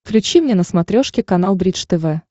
включи мне на смотрешке канал бридж тв